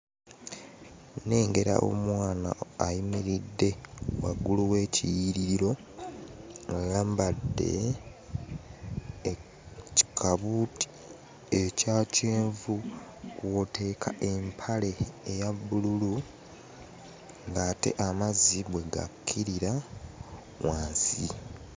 Nnengera omwana ayimiridde waggulu w'ekiyiiririro. Ayambadde kikabuuti ekya kyenvu kw'oteeka empale eya bbululu ng'ate amazzi bwe gakkirira wansi.